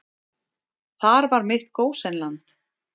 Þar var mitt gósenland.